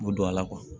Mo don a la